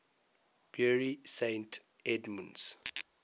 bury st edmunds